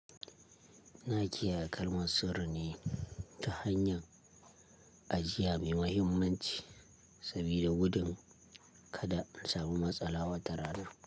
In kiyaye kalmar sirri ne ta hanyar, ajiya mai mahimmanci sabida gudun kada in samu matsala wata rana.